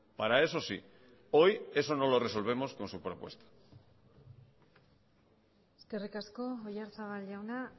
para eso sí hoy eso no lo resolvemos con su propuesta eskerrik asko oyarzabal jauna